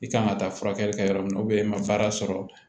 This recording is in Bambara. I kan ka taa furakɛli kɛ yɔrɔ min na i ma baara sɔrɔ